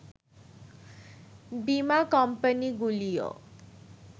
বীমা কোম্পানিগুলিও